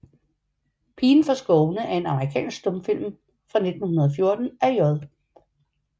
Pigen fra Skovene er en amerikansk stumfilm fra 1914 af J